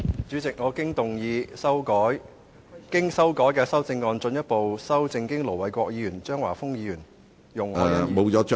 主席，我動議我經修改的修正案，進一步修正經盧偉國議員、張華峰議員、容海恩議員......